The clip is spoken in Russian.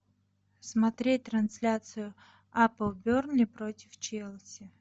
смотреть трансляцию апл бернли против челси